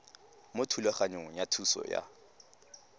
mo thulaganyong ya thuso y